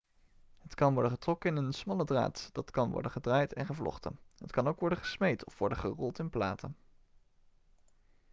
het kan worden getrokken in een smalle draad dat kan worden gedraaid en gevlochten het kan ook worden gesmeed of worden gerold in platen